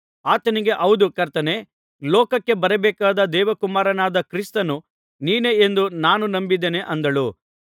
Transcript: ಆಕೆಯು ಆತನಿಗೆ ಹೌದು ಕರ್ತನೇ ಲೋಕಕ್ಕೆ ಬರಬೇಕಾದ ದೇವಕುಮಾರನಾದ ಕ್ರಿಸ್ತನು ನೀನೇ ಎಂದು ನಾನು ನಂಬಿದ್ದೇನೆ ಅಂದಳು